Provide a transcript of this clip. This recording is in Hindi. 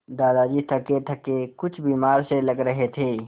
दादाजी थकेथके कुछ बीमार से लग रहे थे